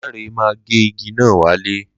Lanre ma gé igi náà wálẹ̀